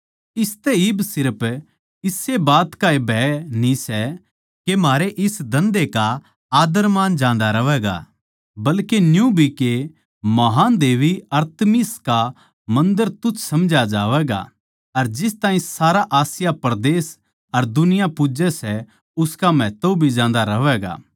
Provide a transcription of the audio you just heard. इसतै इब सिर्फ इस्से बात का ए भय न्ही सै के म्हारै इस धन्धे की इज्जतमान जान्दी रहवैगी बल्के न्यू भी के महान् देबी अरतिमिस का मन्दर तुच्छ समझया जावैगा अर जिस ताहीं सारा आसिया परदेस अर दुनिया पूज्जै सै उसका महत्व भी जान्दा रहवैगा